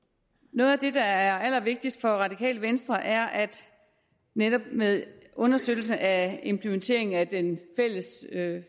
noget af det der er allervigtigst for det radikale venstre er at det netop med understøttelsen af implementeringen af den fælles